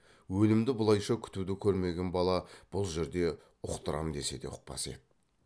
өлімді бұлайша күтуді көрмеген бала бұл жерде ұқтырам десе де ұқпас еді